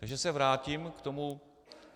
Takže se vrátím k tomu.